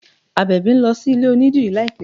Àbẹ̀bì ń lọ sí ilé onídìrí láìpẹ́